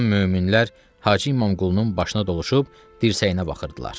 Qalan möminlər Hacı İmamqulunun başına doluşub dirsəyinə baxırdılar.